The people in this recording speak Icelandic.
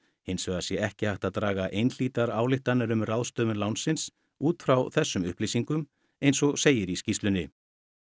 hins vegar sé ekki hægt að draga einhlítar ályktanir um ráðstöfun lánsins út frá þessum upplýsingum eins og segir í skýrslunni